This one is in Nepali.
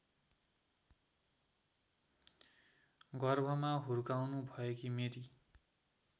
गर्भमा हुर्काउनुभएकी मेरी